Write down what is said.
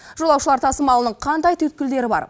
жолаушылар тасымалының қандай түйткілдері бар